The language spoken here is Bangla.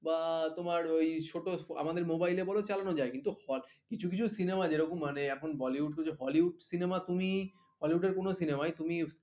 বা তোমার ওই ছোট আমাদের mobile এ বল চালানো যায় কিছু কিছু cinema যেরকম মানে এখন bollywood hollywood cinema তুমি hollywood এর কোন cinema তুমি